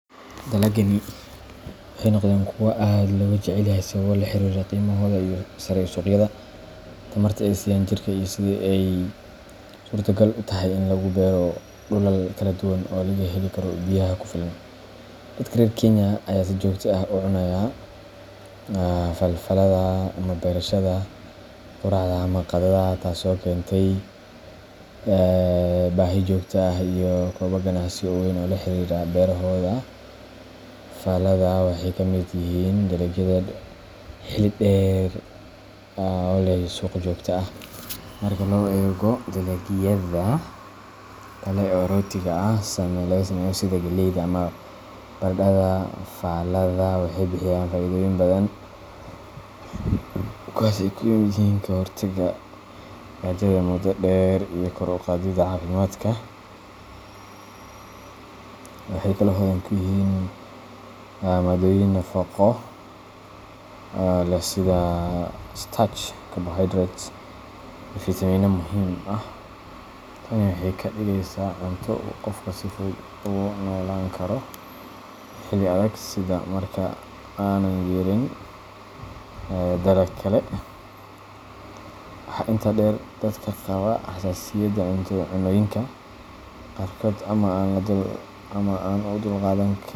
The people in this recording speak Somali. Dalagyadani waxay noqdeen kuwo aad looga jecel yahay sababo la xiriira qiimahooda sare ee suuqyada, tamarta ay siiyaan jirka, iyo sida ay suurtogal u tahay in lagu beero dhulal kala duwan oo laga heli karo biyaha ku filan. Dadka reer Kenya ayaa si joogto ah ugu cunaya falaadhaha waqtiyada quraacda ama qadada, taasoo keentay baahi joogto ah iyo koboc ganacsi oo weyn oo la xiriira beerahooda. Falaadhaha waxay ka mid yihiin dalagyada xilli-dheer ah oo leh suuq joogto ah. Marka loo eego dalagyada kale ee rootiga laga sameeyo sida galleyda ama baradhada, falaadhaha waxay bixiyaan faa’iidooyin badan, kuwaas oo ay ka mid yihiin ka-hortagga gaajada muddo dheer iyo kor u qaadidda caafimaadka. Waxay hodan ku yihiin maaddooyin nafaqo leh sida starch, carbohydrates, iyo fiitamiino muhiim ah. Tani waxay ka dhigaysaa cunto uu qofku si fudud ugu noolaan karo xilli adag sida marka aanay jirin dalag kale. Waxaa intaa dheer, dadka qaba xasaasiyadda cunnooyinka qaarkood ama aan u dulqaadan.